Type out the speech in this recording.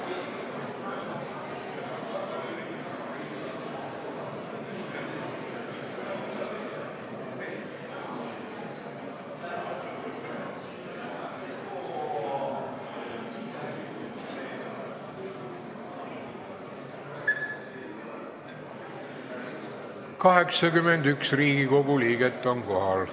Kohaloleku kontroll 81 Riigikogu liiget on kohal.